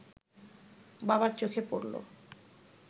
বাবার চোখে পড়ল